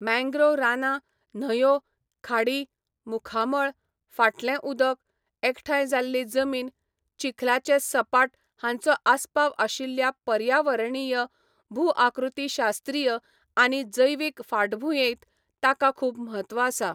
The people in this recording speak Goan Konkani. मॅंग्रोव रानां, न्हंयो, खाडी, मुखामळ, फाटलें उदक, एकठांय जाल्ली जमीन, चिखलाचे सपाट हांचो आस्पाव आशिल्ल्या पर्यावरणीय, भूआकृतीशास्त्रीय आनी जैविक फाटभूंयेंत ताका खूब म्हत्व आसा.